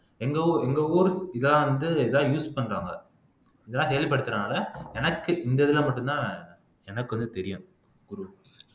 எங்க ஊர் இதா வந்து இதான் use பண்றாங்க இதெல்லாம் கேள்விப்பட்டதனால எனக்கு இந்த இதுல மட்டும்தான் எனக்கு வந்து தெரியும் ஒரு